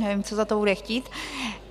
Nevím, co za to bude chtít.